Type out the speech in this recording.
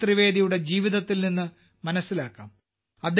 ജഗദീഷ് ത്രിവേദിയുടെ ജീവിതത്തിൽ നിന്ന് മനസ്സിലാക്കാം